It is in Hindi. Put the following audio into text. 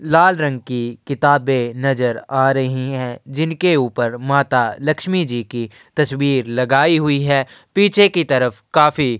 लाल रंग की किताबे नजर आ रही हैं। जिनके ऊपर माता लक्ष्मी जी की तस्वीर लगाई हुई है। पीछे की तरफ काफी --